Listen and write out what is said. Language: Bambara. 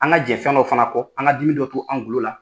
An ka jɛn fɛn dɔw fana kɔ an ka dimi dɔ to an golo la.